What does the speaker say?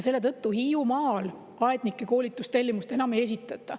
Selle tõttu Hiiumaal aednike koolitamiseks tellimust enam ei esitata.